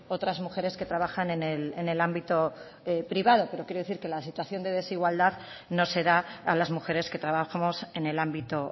otras mujeres que trabajan en el ámbito privado pero quiero decir que la situación de desigualdad no se da a las mujeres que trabajamos en el ámbito